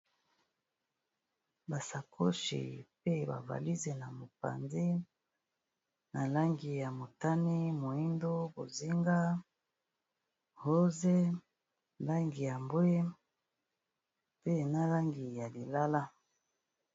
Ba sacoches pe ba valises na mopanzi na langi ya motani, moyindo, bozinga ,rose , langi ya mbwe pe na langi ya lilala .